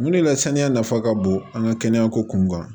Mun de la saniya nafa ka bon an ka kɛnɛya ko kun kan